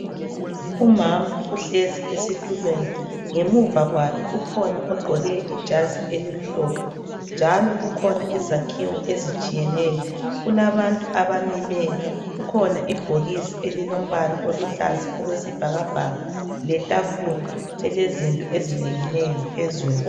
Umama uhlezi esitulweni ngemuva kwakhe kukhona ogqoke ijazi elimhlophe njalo kukhona izakhiwo ezitshiyeneyo kulabantu abamileyo kukhona ibhokisi elilombala oluhlaza okwesibhakabhaka letafula elezinto ezinengi nengi phezulu.